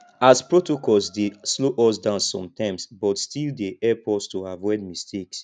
as protocols dey slow us down sometimes but still dey help us to avoid mistakes